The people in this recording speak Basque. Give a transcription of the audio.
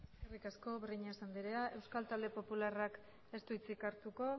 eskerrik asko breñas andrea euskal talde popularrak ez du hitzi hartuko